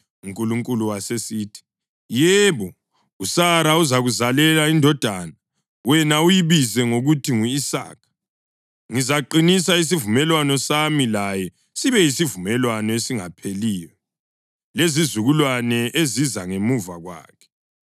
UNkulunkulu wasesithi, “Yebo, uSara uzakuzalela indodana, wena uyibize ngokuthi ngu-Isaka. Ngizaqinisa isivumelwano sami laye sibe yisivumelwano esingapheliyo lezizukulwane eziza ngemva kwakhe.